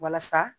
Walasa